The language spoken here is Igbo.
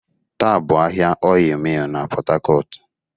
Taa bụ ahịa Ọịyị Mịl na Port harcourt.